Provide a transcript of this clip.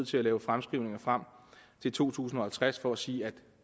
til lave fremskrivninger frem til to tusind og halvtreds for at sige at